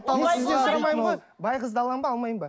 бай қызды аламын ба алмаймын ба